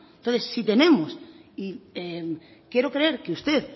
entonces si tenemos y quiero creer que usted